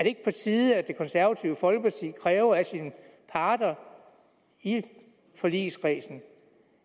ikke på tide at det konservative folkeparti kræver af sine parter i forligskredsen